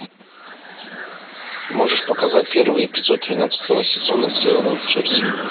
можешь показать первый эпизод тринадцатого сезона сделано в джерси